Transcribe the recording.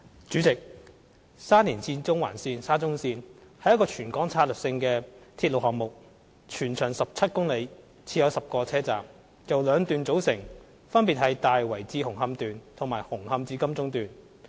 主席，沙田至中環線是一個全港策略性的鐵路項目，全長17公里，設有10個車站，由兩段組成，分別是"大圍至紅磡段"和"紅磡至金鐘段"。